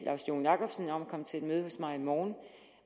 laust joen jakobsen om at komme til et møde hos mig i morgen